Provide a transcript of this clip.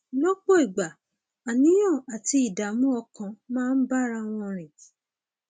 lọpọ ìgbà àníyàn àti ìdààmú ọkàn máa ń bára wọn rìn